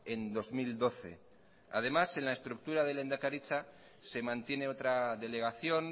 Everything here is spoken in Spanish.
en bi mila hamabigarrena además en la estructura de lehendakaritza se mantiene otra delegación